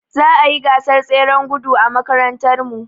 Za a yi gasar tseren gudu a makarantarmu.